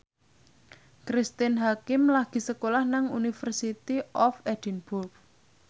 Cristine Hakim lagi sekolah nang University of Edinburgh